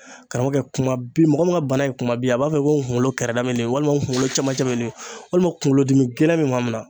Karamɔgɔkɛ kumabin mɔgɔ min ka bana ye kumabin a b'a fɔ ko n kunkolo kɛrɛda walima n kunkolo camacɛ walima kunkolodimi gɛlɛn bɛ maa min na.